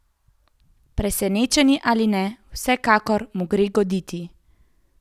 Presenečeni ali ne, vsekakor mu gre ugoditi ...